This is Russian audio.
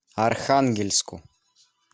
архангельску